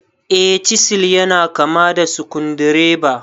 Eh, chisil yana kama da sukudireba.